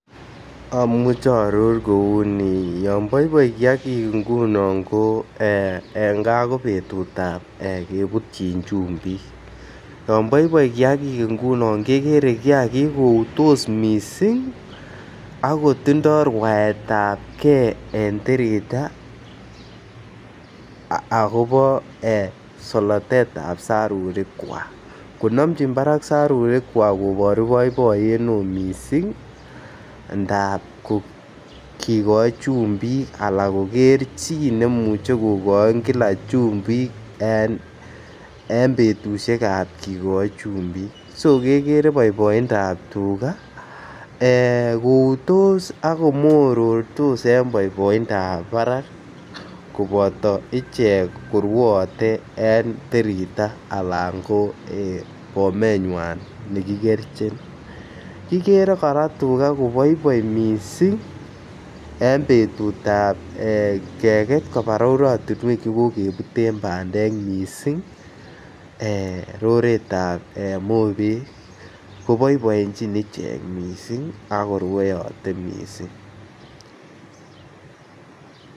Omuche oorur kouni, yon boiboi kiagik ngunon ko ee gaa ko betutab ee kebutyin chumbik yon boiboi kiagik ngunon kegere kiagik koutos missing ako tindo rwaetab gee en tirita akobo solotetab sarurikwak. Ko nomjin Barak sarurikwak koboru boiboiyet ne oo missing ndap kigoi chumbik ana koger chi nemuch kogoi Kila chumbik en betushekab kigoi chumbik, so kegere boiboi ndap tuga ee koutos ak komorortos en boiboindap barak koboto ichek korwoote en tirita alan ko bomenywan ne kigerchin, kigere koraa tuga koboiboi missing en betutab keget kobaa rorotinwek che kokebuten bandek missing ee roretab mobek ko boiboenjin ichek missing ako rwoyote missing